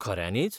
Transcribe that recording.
खऱ्यांनीच!?